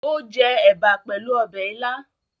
Ó jẹ ẹ̀bà pẹ̀lú ọbẹ̀ ilá?